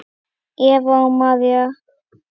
Eva og María.